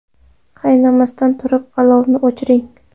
Qaynamasdan turib, olovni o‘chiring.